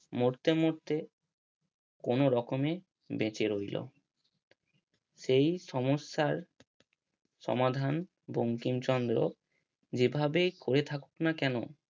মরতে মরতে কোনো রকমে বেঁচে রইলো সেই সমস্যার সমাধান বঙ্কিমচন্দ্র যে ভাবেই করে থাকুক না কেন।